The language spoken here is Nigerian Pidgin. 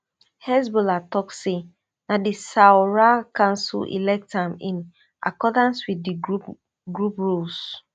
hezbollah tok say na di shura council elect am in accordance wit di group group rules